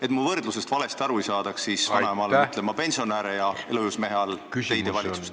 Et mu võrdlusest valesti aru ei saadaks, täpsustan, et ma mõtlen vanaema all pensionäre ja elujõus mehe all teie valitsust.